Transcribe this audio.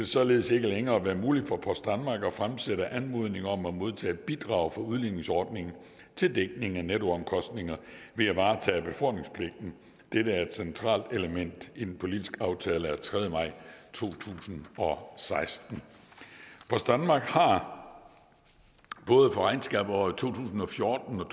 således ikke længere være muligt for post danmark at fremsætte en anmodning om at modtage bidrag fra udligningsordningen til dækning af nettoomkostninger ved at varetage befordringspligten dette er et centralt element i den politiske aftale af tredje maj to tusind og seksten post danmark har både for regnskabsåret to tusind og fjorten og